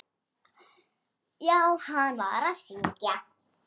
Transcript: Já, hann var að syngja.